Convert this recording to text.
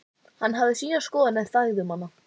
Hann hafði sína skoðun en þagði um hana.